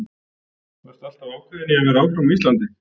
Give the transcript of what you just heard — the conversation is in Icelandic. Varstu alltaf ákveðin í að vera áfram á Íslandi?